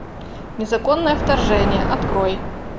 незаконное вторжение открой